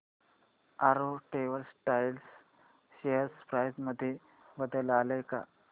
Arrow textiles share price मध्ये बदल आलाय का